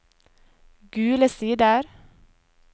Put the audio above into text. Gule Sider